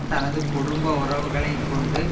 தனது குடும்ப உறவுகளை கொண்டு